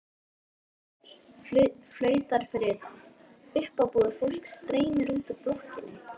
Leigubíll flautar fyrir utan, uppábúið fólk streymir út úr blokkinni.